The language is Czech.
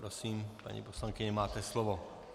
Prosím, paní poslankyně, máte slovo.